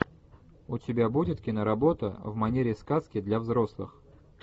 у тебя будет киноработа в манере сказки для взрослых